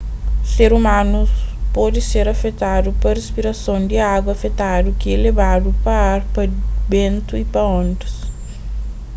ser umanus pode ser afetadu pa rispirason di agu afetadu ki é lebadu pa ar pa bentu y pa ondas